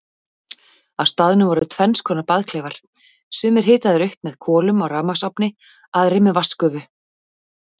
Á staðnum voru tvennskonar baðklefar, sumir hitaðir upp með kolum á rafmagnsofni, aðrir með vatnsgufu.